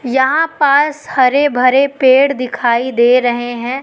यहां पास हरे भरे पेड़ दिखाई दे रहे हैं।